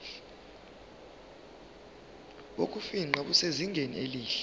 bokufingqa busezingeni elihle